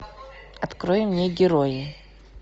открой мне герои